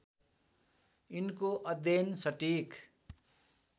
यिनको अध्ययन सटिक